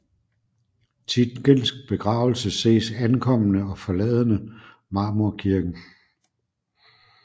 Tietgens begravelse ses ankommende og forladende Marmorkirken